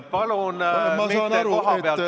Palun mitte kohapealt rääkida!